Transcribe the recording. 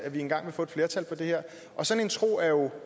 vi engang vil få et flertal for det her sådan en tro er jo